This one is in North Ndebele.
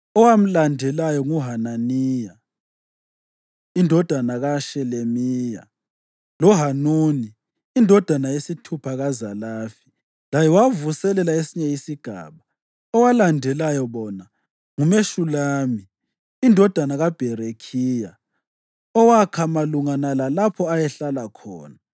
Owamlandelayo, nguHananiya indodana kaShelemiya, loHanuni, indodana yesithupha kaZalafi, laye wavuselela esinye isigaba. Owalandela bona nguMeshulami indodana kaBherekhiya owakha malungana lalapho ayehlala khona.